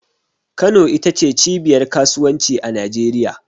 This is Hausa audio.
Kano ita ce cibiyar Kasuwanci a Najeriya.